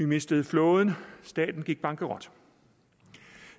mistede flåden og staten gik bankerot